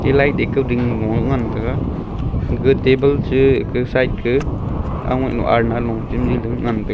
e light ekau dekao ding ngolo ngan taiga gaga table cha kau side ka aungai lo alna lo chamji lo ngan taga.